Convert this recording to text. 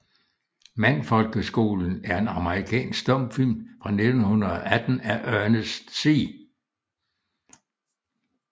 Mandfolkeskolen er en amerikansk stumfilm fra 1918 af Ernest C